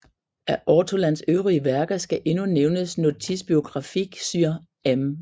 Af Ortholans øvrige værker skal endnu nævnes Notice biographique sur M